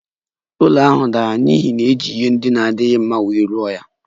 Ụlọ ahụ dara n'ihi na e ji ihe ndị na-adịghị mma wuo ya